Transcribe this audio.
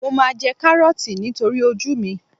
Mo máa jẹ Kárọ́ọ̀tì nítorí ojú mi.